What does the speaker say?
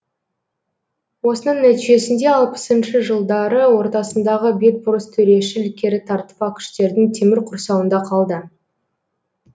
осының нәтижесінде алпысыншы жылдары ортасындағы бетбұрыс төрешіл керітартпа күштердің темір құрсауында қалды